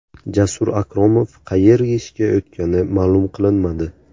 Jasur Akromov qayerga ishga o‘tgani ma’lum qilinmadi.